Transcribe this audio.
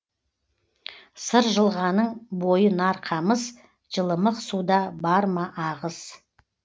сыр жылғаның бойы нар қамыс жылымық суда бар ма ағыс